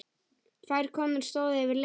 Tvær konur stóðu yfir leiði.